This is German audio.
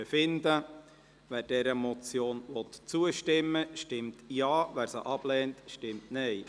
Wer dieser Motion zustimmen will, stimmt Ja, wer sie ablehnt, stimmt Nein.